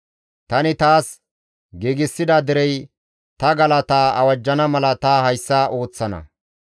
Tani taas giigsida derey ta galataa awajjana mala ta hayssa ooththana.